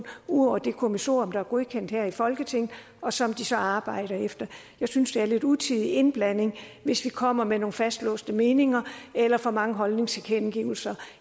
ud over det kommissorium der er godkendt her i folketinget og som de så arbejder efter jeg synes det er lidt utidig indblanding hvis vi kommer med nogle fastlåste meninger eller for mange holdningstilkendegivelser